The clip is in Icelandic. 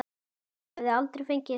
Hann hefði aldrei fengið það.